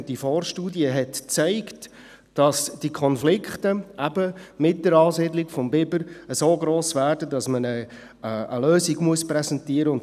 Diese Vorstudie zeigte, dass die Konflikte im Zusammenhang mit der Ansiedlung des Bibers so gross werden, dass man eine Lösung präsentieren muss.